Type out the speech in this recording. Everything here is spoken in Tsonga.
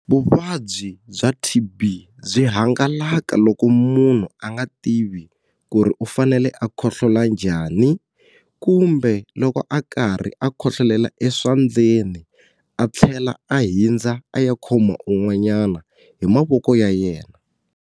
Vuvabyi bya T_B byi hangalaka loko munhu a nga tivi ku ri u fanele a khohlola njhani kumbe loko a karhi a khohlolela eswandleni a tlhela a hindza a ya khoma un'wanyana hi mavoko ya yena.